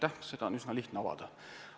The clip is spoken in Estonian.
Seda mõttekäiku on üsna lihtne avada.